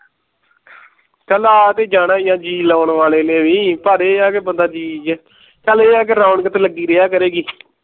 ਚੱਲ ਆ ਤਾ ਜਾਣਾ ਹੈ ਜੀ ਲਾਉਣ ਵਾਲੇ ਨੇ ਭੀ ਪਰ ਇਹ ਹੈ ਕਿ ਬੰਦਾ ਜੀ ਜਾ ਪਰ ਇਹ ਹੈ ਕਿ ਰੌਣਕ ਲਗੀ ਰਿਹਾ ਕਰੇਗੀ